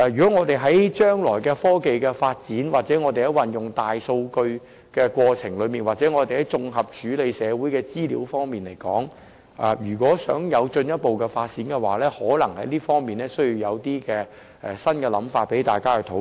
在我們將來的科技發展或運用"大數據"的過程中或就綜合處理社會資料而言，如想有進一步發展，在這方面可能需要提出一些新構思，讓大家進行討論。